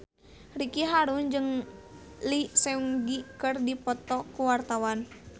Ricky Harun jeung Lee Seung Gi keur dipoto ku wartawan